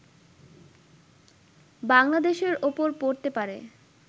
বাংলাদেশের ওপর পড়তে পারে